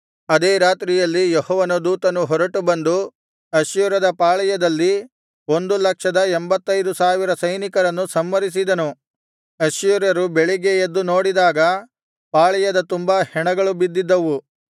ಅದೇ ರಾತ್ರಿಯಲ್ಲಿ ಯೆಹೋವನ ದೂತನು ಹೊರಟು ಬಂದು ಅಶ್ಶೂರ್ಯದ ಪಾಳೆಯದಲ್ಲಿ ಒಂದು ಲಕ್ಷದ ಎಂಭತ್ತೈದು ಸಾವಿರ ಸೈನಿಕರನ್ನು ಸಂಹರಿಸಿದನು ಅಶ್ಶೂರ್ಯರು ಬೆಳಿಗ್ಗೆ ಎದ್ದು ನೋಡಿದಾಗ ಪಾಳೆಯದ ತುಂಬಾ ಹೆಣಗಳು ಬಿದ್ದಿದ್ದವು